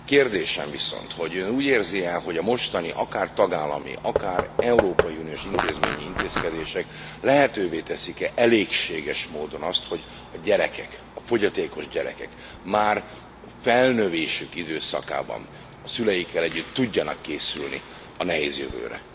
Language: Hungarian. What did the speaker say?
Kérdésem viszont, hogy Ön úgy érzi e, hogy a mostani akár tagállami, akár európai uniós intézményi intézkedések lehetővé teszik e elégséges módon azt, hogy a gyerekek, a fogyatékos gyerekek már felnövésük időszakában a szüleikkel együtt tudjanak készülni a nehéz jövőre?